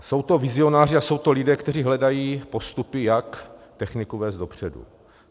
Jsou to vizionáři a jsou to lidé, kteří hledají postupy, jak techniku vést dopředu.